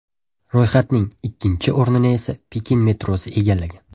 Ro‘yxatning ikkinchi o‘rnini esa Pekin metrosi egallagan.